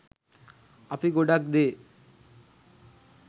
අපි ගොඩක් දේ